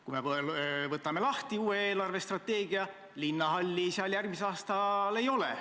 Kui me võtame lahti uue eelarvestrateegia, siis näeme, et linnahalli seal järgmisel aastal ei ole.